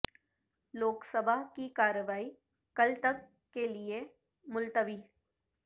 لوک سبھا کی کارروائی کل تک کے لئے ملتوی